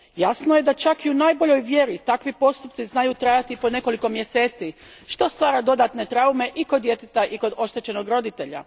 Jasno je da čak i u najboljoj vjeri takvi postupci znaju trajati po nekoliko mjeseci, što stvara dodatne traume i kod djeteta i kod oštećenog roditelja.